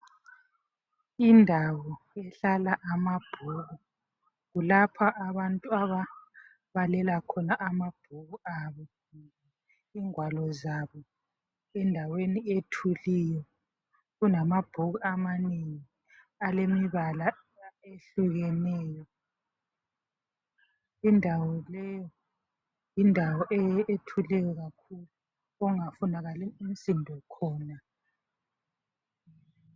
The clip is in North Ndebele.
Indawo lapho okuhlala khona amabhuku kulapho abantu ababalela khona amabhuku abo ingwalo zabo endaweni ethuliyo. Kulamabhuku amanengi alemibala ehlukeneyo indawo leyi yindawo ethuleyo kakhulu okungafunakali umsindo khona.